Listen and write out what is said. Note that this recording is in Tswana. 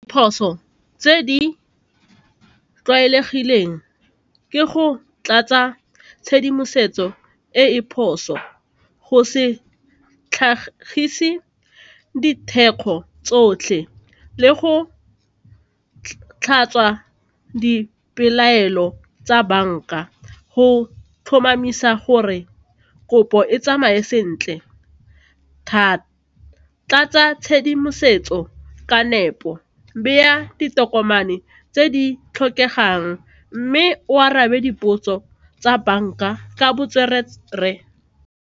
Phoso tse di tlwaelegileng ke go tlatsa tshedimosetso e e phoso, go se tlhagise ditheko tsotlhe le go tlhatswa dipelaelo tsa banka go tlhomamisa gore kopo e tsamaye sentle thata, tlatsa tshedimosetso ka nepo, beya ditokomane tse di tlhokegang mme o arabe dipotso tsa banka ka botswerere.